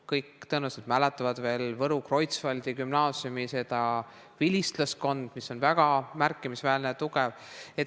Kõik tõenäoliselt mäletavad veel Võru Kreutzwaldi gümnaasiumi vilistlaskonda, mis on väga märkimisväärne ja tugev.